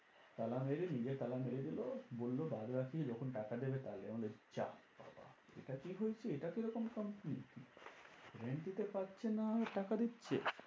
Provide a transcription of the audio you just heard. তালা মেরে নিজে তালা মেরে দিলো বললো বাদবাকি যখন টাকা দেবে তাহলে আমাদের যা বাবা এটা কি হয়েছে এটা তো এরকম company ছিল। rent দিতে পারছে না টাকা দিচ্ছে?